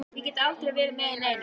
Ég get aldrei verið með í neinu.